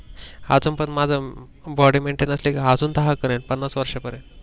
आजून पण माझ Body maintain असलीकी आजून दहा करेल पन्नास वर्षा पर्यंत.